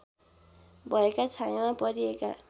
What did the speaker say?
भएका छायामा परिएका